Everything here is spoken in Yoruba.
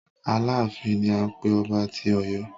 Aláàfin ni à ń pé ọba tí Ọ̀yọ́.